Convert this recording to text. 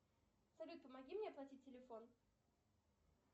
салют помоги мне оплатить телефон